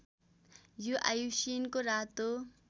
यो आइयुसिएनको रातो